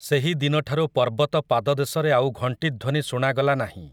ସେହି ଦିନଠାରୁ ପର୍ବତ ପାଦଦେଶରେ ଆଉ ଘଂଟିଧ୍ୱନି ଶୁଣାଗଲା ନାହିଁ ।